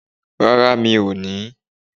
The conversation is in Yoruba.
Rárá mi ò ní